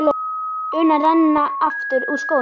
una renna aftur úr skónum.